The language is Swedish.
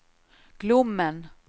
Glommen